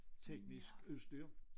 Teknisk udstyr